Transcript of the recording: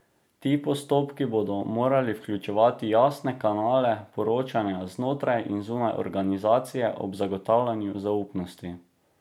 Ti postopki bodo morali vključevati jasne kanale poročanja znotraj in zunaj organizacije ob zagotavljanju zaupnosti.